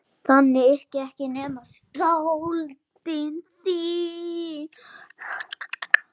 Þannig yrkja ekki nema skáld!